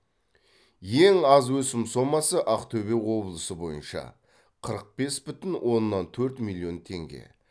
ең аз өсім сомасы ақтөбе облысы бойынша қырық бес бүтін оннан төрт миллион теңге